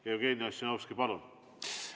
Jevgeni Ossinovski, palun!